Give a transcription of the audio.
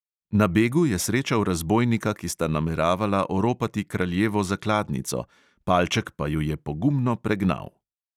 Na begu je srečal razbojnika, ki sta nameravala oropati kraljevo zakladnico, palček pa ju je pogumno pregnal.